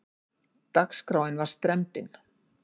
Dagskráin var strembin.